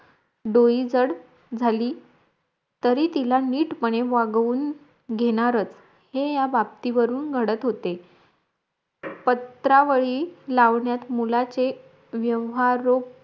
डोईजड झाली तरी तिला निटपणे वागवून घेणारच हे या बाबतीवरून घडत होते पत्रावळी लावण्यात मुलाचे व्यवहाररूप